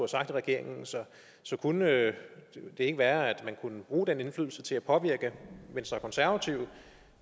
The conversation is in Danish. sagt i regeringen så så kunne det ikke være at man kunne bruge den indflydelse til at påvirke venstre og konservative